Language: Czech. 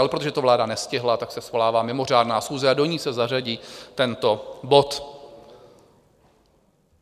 Ale protože to vláda nestihla, tak se svolává mimořádná schůze a do ní se zařadí tento bod.